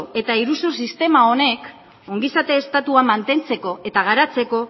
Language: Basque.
eta iruzursistema honek ongizate estatua mantentzeko eta garatzeko